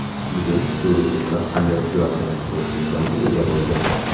Bugun shu resurslar qanday ishlayotganini ko‘rish imkoniga ega bo‘ldim.